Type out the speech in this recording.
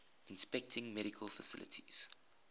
inspecting medical facilities